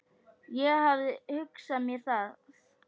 Ég hafði hugsað mér það.